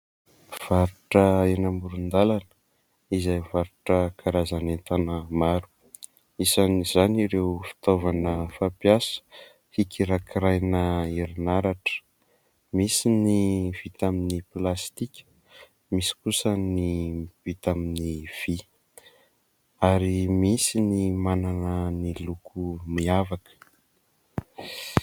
Mpivarotra eny amoron-dalana, izay mivarotra karazana entana maro. Isan'izany ireo fitaovana fampiasa hikirakiraina herinaratra : misy ny vita amin'ny plastika, misy kosa ny vita amin'ny vy ; ary misy ny manana ny loko miavaka.